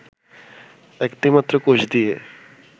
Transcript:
একটি মাত্র কোষ দিয়ে